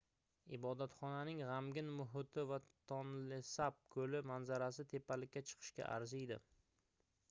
ibodatxonaning gʻamgin muhiti va tonlesap koʻli manzarasi tepalikka chiqishga arziydi